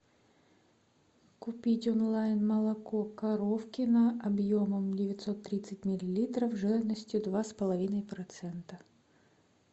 купить онлайн молоко коровкино объемом девятьсот тридцать миллилитров жирностью два с половиной процента